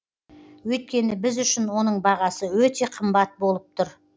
өйткені біз үшін оның бағасы өте қымбат болып тұр